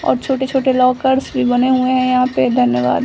और छोटे-छोटे लॉकर्स भी बने हुए है यहां पे धन्यवाद।